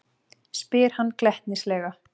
spyr hann glettnislega.